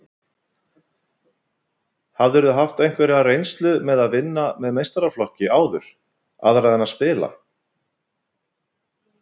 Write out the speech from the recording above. Hafðirðu haft einhverja reynslu með að vinna með meistaraflokki áður, aðra en að spila?